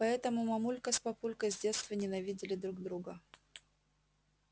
поэтому мамулька с папулькой с детства ненавидели друг друга